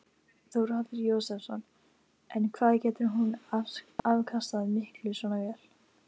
Þórhallur Jósefsson: En hvað getur hún afkastað miklu svona vél?